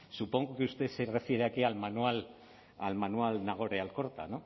supongo que usted se refiere al manual nagore alkorta